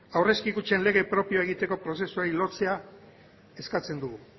aurrezki kutxen lege propioa egiteko prozesuari lotzea eskatzen dugu